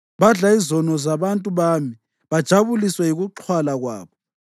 Badla izono zabantu bami bajabuliswe yikuxhwala kwabo.